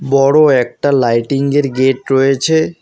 বড় একটা লাইটিংগের গেট রয়েছে।